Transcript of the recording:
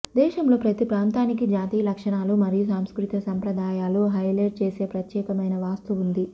దేశంలో ప్రతి ప్రాంతానికి జాతీయ లక్షణాలు మరియు సాంస్కృతిక సంప్రదాయాలు హైలైట్ చేసే ప్రత్యేకమైన వాస్తు ఉంది